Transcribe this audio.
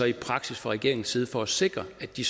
i praksis fra regeringens side for at sikre at de